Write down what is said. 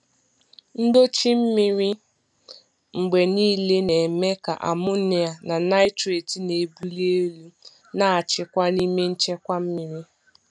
Ndochi mmiri mgbe niile na-eme ka amonia na nitrate na-ebuli elu na-achịkwa n'ime nchekwa mmiri.